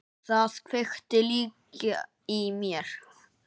Það kveikti líka í mér.